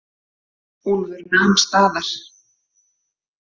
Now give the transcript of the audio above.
Úlfur nam staðar.